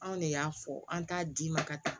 Anw de y'a fɔ an t'a d'i ma ka taa